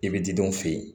I bɛ didenw fe yen